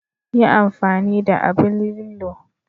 Yi amfani da aɓn lillo..